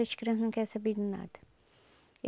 Essas crianças não quer saber de nada.